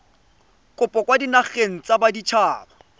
kopo kwa dinageng tsa baditshaba